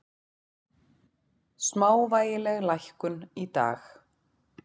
Smávægileg lækkun í dag